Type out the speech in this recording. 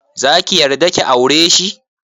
Zaki yarda ki aureshi?